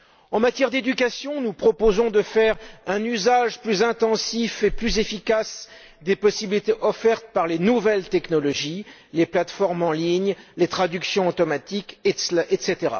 En matière d'éducation, nous proposons de faire un usage plus intensif et plus efficace des possibilités offertes par les nouvelles technologies, les plateformes en ligne, les traductions automatiques, etc.